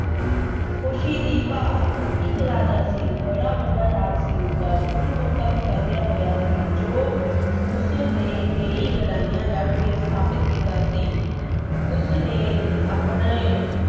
ਖੁਸ਼ੀ ਦੀ ਭਾਲ। ਇੱਕ ਰਾਜਾ ਸੀ। ਬੜਾ ਵੱਡਾ ਰਾਜ ਸੀ ਉਸਦਾ। ਦੂਰ-ਦੂਰ ਤੱਕ ਫੈਲਿਆ ਹੋਇਆ ਸੀ ਜੋ ਉਸਨੇ ਕਈ ਲੜਾਈਆਂ ਲੜ ਕੇ ਸਥਾਪਤ ਕੀਤਾ ਸੀ। ਉਸ ਨੇ ਆਪਣੇ